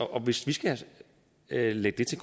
og hvis vi skal lægge det